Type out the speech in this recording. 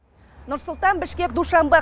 нұр сұлтан бішкек душанбе